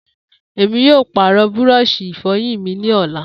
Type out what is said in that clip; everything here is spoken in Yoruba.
Emi yoo paarọ búrọ̀ọ̀sì ìfọyín mi ni ọla.